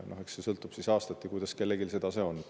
Eks see sõltub aastast, kuidas kellelgi see tase on.